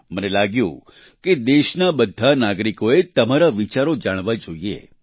મને લાગ્યું કે દેશના બધા નાગરિકોએ તમારા વિચારો જાણવા જોઈએ